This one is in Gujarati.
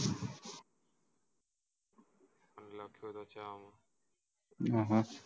અહ